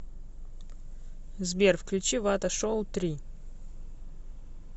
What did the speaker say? сбер включи вата шоу три